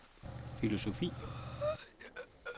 filosofi